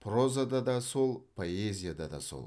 прозада да сол поэзияда да сол